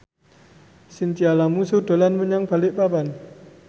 Chintya Lamusu dolan menyang Balikpapan